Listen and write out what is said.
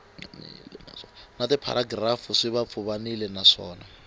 na tipharagirafu swi pfuvapfuvanile naswona